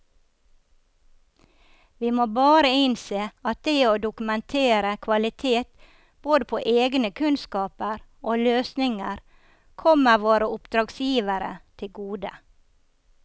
Vi må bare innse at det å dokumentere kvalitet både på egne kunnskaper og løsninger kommer våre oppdragsgivere til gode.